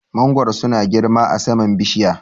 Mangoro su na girma a saman bishiya